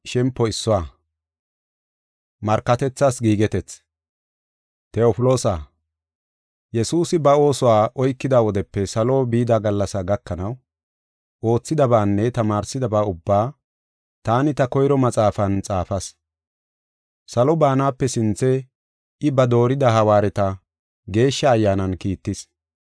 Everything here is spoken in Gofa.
Tewofloosa, Yesuusi ba oosuwa oykida wodepe salo bida gallasaa gakanaw, oothidabaanne tamaarsidaba ubba taani ta koyro maxaafan xaafas. Salo baanape sinthe I ba doorida hawaareta, Geeshsha Ayyaanan kiittis.